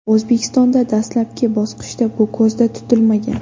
O‘zbekistonda dastlabki bosqichda bu ko‘zda tutilmagan.